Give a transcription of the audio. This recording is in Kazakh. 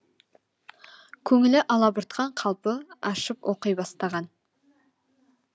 көңілі алабұртқан қалпы ашып оқи бастаған